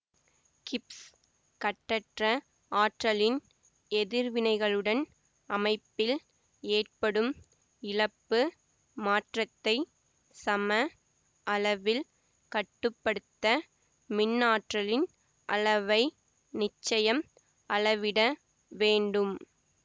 Gibbs கட்டற்ற ஆற்றலின் எதிர்வினைவுகளுடன் அமைப்பில் ஏற்படும் இழப்பு மாற்றத்தை சம அளவில் கட்டு படுத்த மின்ஆற்றலின் அளவை நிச்சயம் அளவிட வேண்டும்